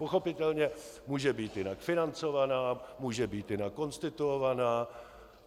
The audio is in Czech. Pochopitelně může být jinak financovaná, může být jinak konstituovaná.